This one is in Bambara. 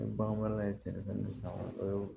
Ni bagan ye sɛnɛfɛn san o ye